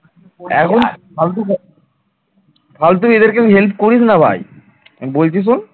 ফালতু এদেরকে help করিস না ভাই বলছি শোন?